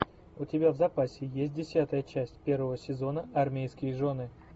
у тебя в запасе есть десятая часть первого сезона армейские жены